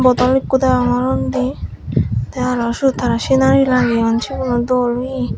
bodol ikko degongor undi tey aro syot tara sinari lageyon siguno dol oye.